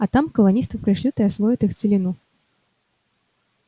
а там колонистов пришлют и освоят их целину